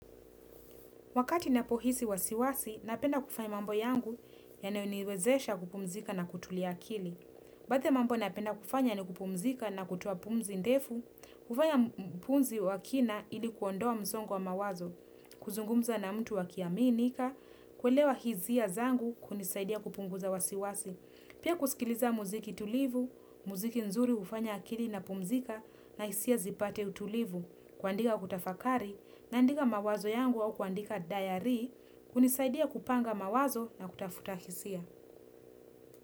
Wakati napohisi wasiwasi, napenda kufanya mambo yangu yanayoniwezesha kupumzika na kutulia akili. Baadhi mambo napenda kufanya ni kupumzika na kutoapumzi ndefu, kufanya mpumzi wakina ilikuondoa mzongo wa mawazo, kuzungumza na mtu wakiaminika, kuelewa hizia zangu kunisaidia kupunguza wasiwasi. Pia kusikiliza muziki tulivu, muziki nzuri hufanya akili na pumzika na hisia zipate utulivu kuandika kutafakari naandika mawazo yangu au kuandika diary hunisaidia kupanga mawazo na kutafuta kisia.